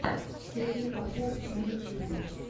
сергей попов на ютюбе